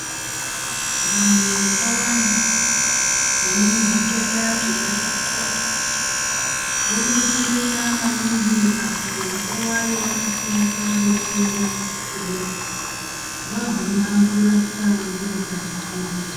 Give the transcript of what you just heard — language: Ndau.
Vantu vakawanda vanezvitenda zvemadziso vobetsereka maningi. Apo nguva yevanosimuka vechienda kuchibhedhleya vaguma vorapwa ngevakazvifundira.